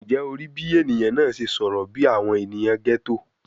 Njẹ o rii bi eniyan naa ṣe sọrọ bi awọn eniyan ghetto?